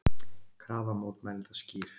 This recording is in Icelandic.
Krafa mótmælenda skýr